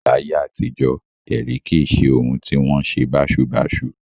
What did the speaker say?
Láyé àtijọ́, ẹ̀rí kì í ṣe ohun tí ó wọn ṣe báṣubàṣu